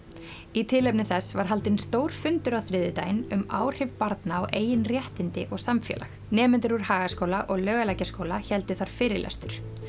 í tilefni þess var haldinn stór fundur á þriðjudaginn um áhrif barna á eigin réttindi og samfélag nemendur úr Hagaskóla og Laugalækjarskóla héldu þar fyrirlestur